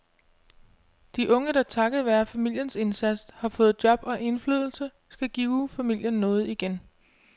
De unge, der takket være familiens indsats har fået job og indflydelse, skal give familien noget igen.